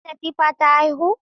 Ta aiki Latifah ta haihu?